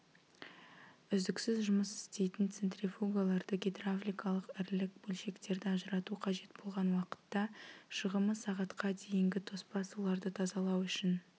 үздіксіз жұмыс істейтін центрифугаларды гидравликалық ірілік бөлшектерді ажырату қажет болған уақытта шығымы сағатқа дейінгі тоспа суларды тазалау үшін